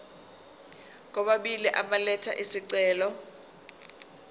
kwababili elatha isicelo